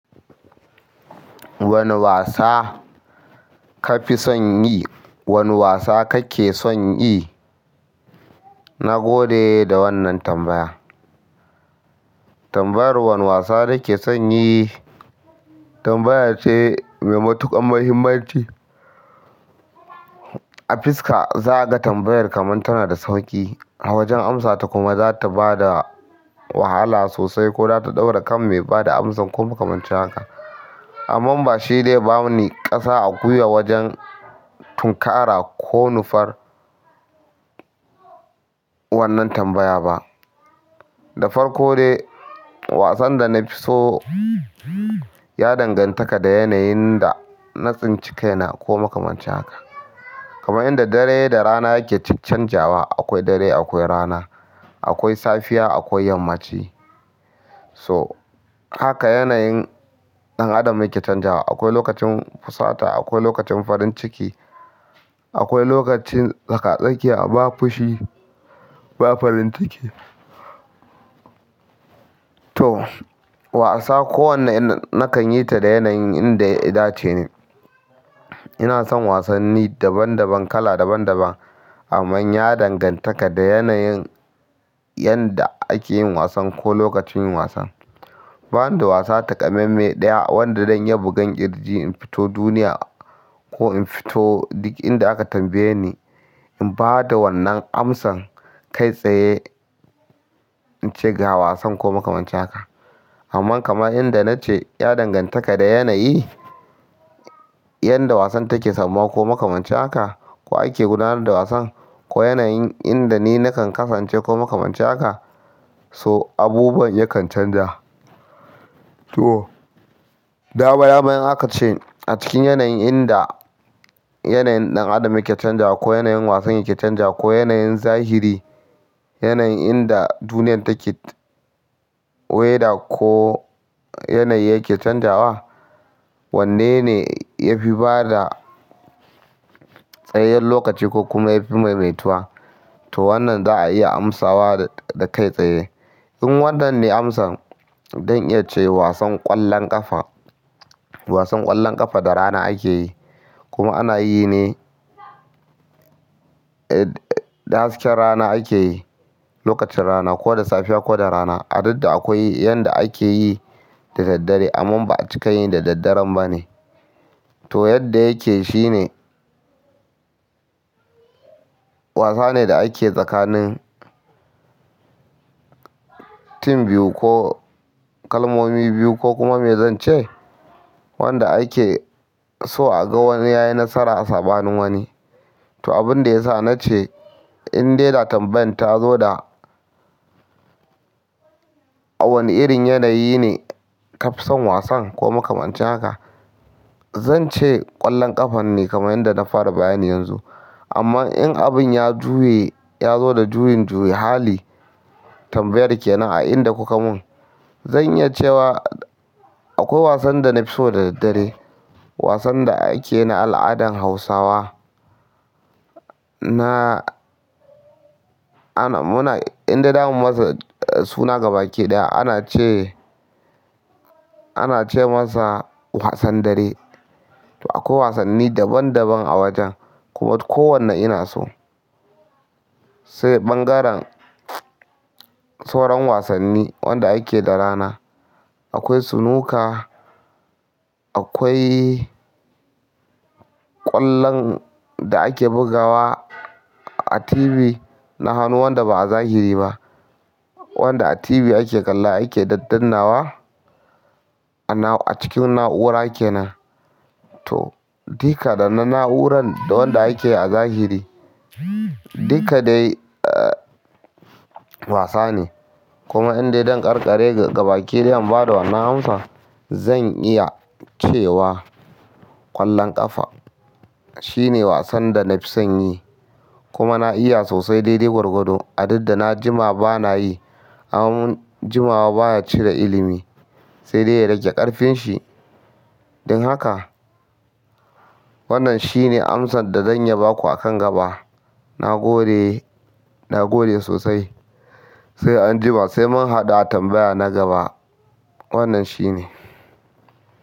Wane wasa ka fi son yi? Wane wasa kake son yi? Na gode da wannan tambaya. Tambayar wane wasa nake son yi tambaya ce mai matuƙar muhimmanci. A fiska, za a ga tambayar kamar tana da sauƙi. A wajen amsata kuma zata bada wahala sosai ko zata ɗaure kan mai bada amsan ko makamancin haka amma bashi zai bani gasa a gwaiwa wajen tunkara ko nufar wannan tambaya ba. Da farko dai, wasan da na fi so ya dangantaka da yanayin da na tsinci kaina ko makamancin haka. Kamar yadda dare da rana ke caccanjawa, akwai dare akwai rana, akwai safiya akwai yammaci. So, haka yanayin ɗan adam yake canjawa. Akwai lokacin fusata, akwai lokacin farin ciki, akwai lokacin tsaka-tsakiya, ba fushi ba farin ciki. To, wasa kowane ina nakan yi ta da yanayin inda yadace ne. Ina son wasanni daban-daban, kala daban-daban. Ammann ya dangantaka da yanayin yanda ake yin wasan ko lokacin yin wasan. Bani da wasa takamaime ɗaya wanda zan iya buga ƙirji in fito duniya ko in fito duk inda aka tambaye ni, in ba da wannan amsan kai tsaye in ce ga wasan ko makamancin haka. Amma kamar inda na ce, ya danganta da yanayi, yadda wasan take samma ko makamancin haka ko ake gudanar da wasan ko yanayin inda ni nakan kasance ko makamancin haka. To, abubuwan yakan canja. To, dama dama in aka ce a cikin yanayin inda yanayin ɗan adam yake canja ko yanayin wasan yake canja ko yanayin zahiri, yanayin inda duniyar take, weather ko yanayi yake canjawa, wanne ne ya fi bada tsayayyen lokaci ko kuma yafi maimaituwa? To wannan za a iya amsawa kai tsaye in wannan ne amsan, zan iya ce wasan ƙwallon ƙafa. Wasan ƙwallon ƙafa da rana ake yi kuma ana yi ne. Da hasken rana ake yi, lokacin rana ko da safiya ko da rana, a duk da akwai yanda ake yi da daddare. Ammann ba a cikin yi da daddaren ba ne. To yadda yake shine wasa ne da ake tsakanin team biyu ko kalmomi biyu ko kuma me zan ce wanda ake so a ga wani ya yi nasara a tsabanin wani. To, abin da ya sa na ce in dai na tambayan ta zo da a wani irin yanayi ne kafson wasan ko makamancin haka, zan ce ƙwallon ƙafa ne kamar yadda na fara bayan yanzu. Amma in abin ya juye, ya zo da juyin-juyin hali tambayar kenan a inda kuka mun, zan iya cewa akwai wasan da na fi so da daddare. Wasan da ake yi na al'adan Hausawa. Na, ana, muna, in dai za mu masa suna gaba ɗaya ana ce, ana ce masa wasan dare. To akwai wasanni daban-daban a wajen kuma kowanne ina so. Sai ɓangaren sauran wasanni wanda ake da rana. Akwai snooker, akwai ƙwallon da ake bugawa a TV. Na hanu wanda ba a zahiri ba. Wanda a TV ake kalla ake dadannawa a cikin na'ura kenan. To, dika da na'uraran da wanda ake a zahiri, dika dai wasa ne. Kuma in dai don karkare gaba ɗaya ba da wannan amsa, zan iya cewa ƙwallon ƙafa shine wasan da na fi son yi. Kuma na iya sosai dai dai gwargwado a duk da na jima ba na yi. Ammann jimawa baya cire ilimi sai dai ya rage ƙarfin shi. Don haka wannan shine amsan da zan iya ba ku a kan gaba. Na gode, na gode sosai. Sai an jima sai mun haɗu a tambaya na gaba. Wannan shine.